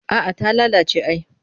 A'a ta lalace ai